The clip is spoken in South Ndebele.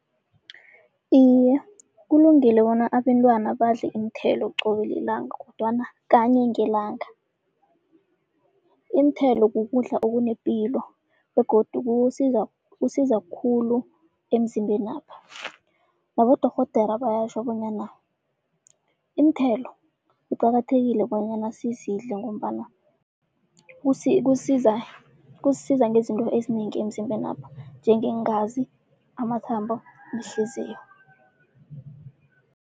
Iye, kulungile bona abentwana badle iinthelo qobe lilanga kodwana kanye ngelanga. Iinthelo kukudla okunepilo begodu kuwusiza, kusiza khulu emzimbenapha. Nabodorhodera bayatjho bonyana, iinthelo kuqakathekile bonyana sizidle ngombana kusiza kusisiza ngezinto ezinengi emzimbenapha njengeengazi, amathambo nehliziyo.